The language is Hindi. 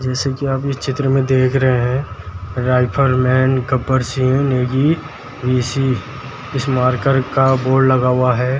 जैसे की आप चित्र में दिख रहे हैं राइफल मेन गब्बर सिंह नेगी इसी इस मारकर का बोर्ड लगा हुआ है